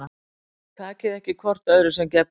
Takið ekki hvort öðru sem gefnu